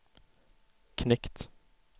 knekt